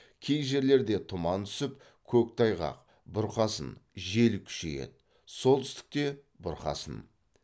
кей жерлерде тұман түсіп көктайғақ бұрқасын жел күшейеді солтүстікте бұрқасын